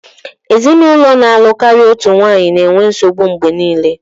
Ezinụlọ na-alụ karịa otu nwanyị na-enwe nsogbu mgbe niile